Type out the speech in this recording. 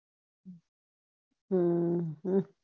હમ